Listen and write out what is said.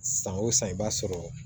San o san i b'a sɔrɔ